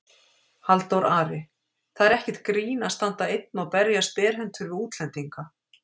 Halldór Ari: Það er ekkert grín að standa einn og berjast berhentur við útlendinga